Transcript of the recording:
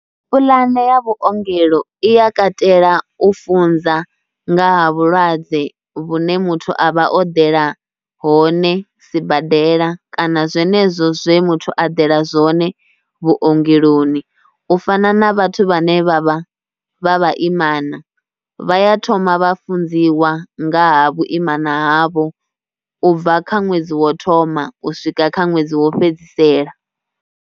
Pulane ya vhuongelo i ya katela u funza nga vhulwadze vhune muthu a vha o eḓela hone sibadela kana zwenezwo zwe muthu a dela zwone vhuongeloni. U fana na vhathu vhane vha vha vha vhaimana vha ya thoma vha funziwa ngaha vhuimana havho u bva kha ṅwedzi wo thoma u swika kha ṅwedzi wo fhedzisela